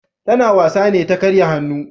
Ta na wasa ne ta karya hannu